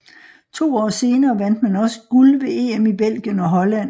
To år senere vandt man også guld ved EM i Belgien og Holland